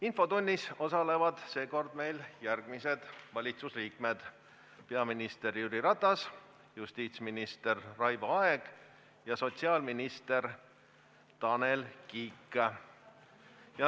Infotunnis osalevad seekord järgmised valitsusliikmed: peaminister Jüri Ratas, justiitsminister Raivo Aeg ja sotsiaalminister Tanel Kiik.